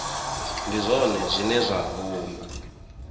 ndi zwone zwine zwa vhumba